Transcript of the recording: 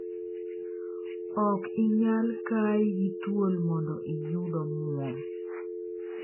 "Ok inyal kai gi thuol mondo iyud omuom.